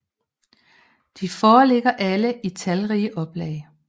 De foreligger alle i talrige oplag